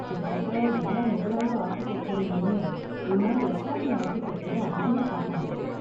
கிட்டதட்ட எல்லா முகலாய ஆர்க்கிடெக்சர்லயுமே, உன்னால இஸ்லாமிய ஆர்க்கிடெக்சர அதிகமா பாக்க முடியும்.